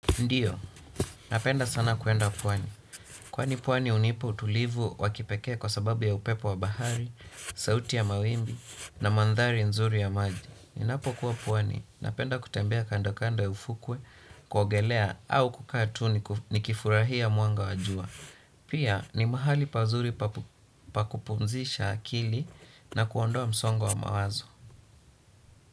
Ndiyo, napenda sana kwenda pwani. Kwani pwani hunipa utulivu wa kipekee kwa sababu ya upepo wa bahari, sauti ya mawimbi, na mandhari nzuri ya maji. Ninapokuwa pwani, napenda kutembea kandokando ya ufukwe, kuogelea au kukaa tu ninikifurahia mwanga wa jua. Pia, ni mahali pazuri pa kupumzisha akili na kuondoa msongo wa mawazo.